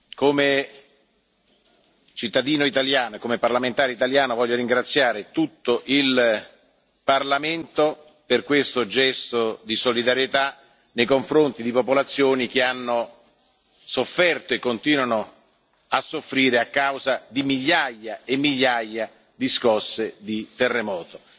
Come cittadino e parlamentare italiano, desidero ringraziare tutto il Parlamento per questo gesto di solidarietà nei confronti delle popolazioni che hanno sofferto e continuano a soffrire a causa di migliaia e migliaia di scosse di terremoto.